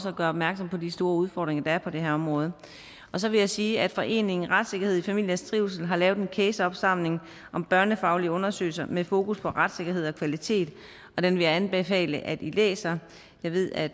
at gøre opmærksom på de store udfordringer der er på det her område så vil jeg sige at foreningen retssikkerhed i familiers trivsel har lavet en caseopsamling om børnefaglige undersøgelser med fokus på retssikkerhed og kvalitet og den vil jeg anbefale at i læser jeg ved at